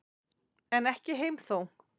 En ekki heim þó.